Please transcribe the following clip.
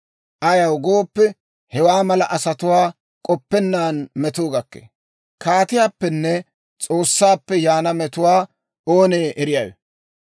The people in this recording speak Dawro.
Ayaw gooppe, hewaa mala asatuwaa k'oppenna metuu gakkee; kaatiyaappenne S'oossaappe yaana metuwaa oonee eriyaawe?